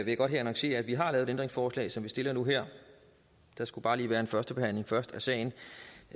jeg godt her annoncere at vi har lavet et ændringsforslag som vi stiller nu her der skulle bare lige være en første behandling først af sagen